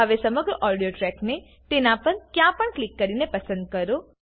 હવે સમગ્ર ઓડિયો ટ્રેકને પર તેના પર ક્યાં પણ ક્લિક કરીને પસંદ કરો